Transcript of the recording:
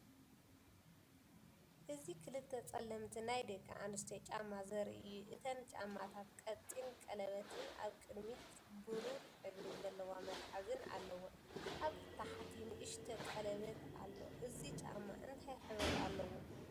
እዚ ክልተ ጸለምቲ ናይ ደቂ ኣንስትዮ ጫማ ዘርኢ እዩ። እተን ጫማታት ቀጢን ቀለቤትን ኣብ ቅድሚት ብሩር ሕብሪ ዘለዎ መትሓዚን ኣለወን። ኣብ ታሕቲ ንእሽቶ ቀለቤት ኣለን። እዚ ጫማ እንታይ ሕብሪ ኣለዎ?